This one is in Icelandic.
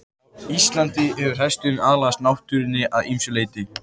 Á Íslandi hefur hesturinn aðlagast náttúrunni að ýmsu leyti.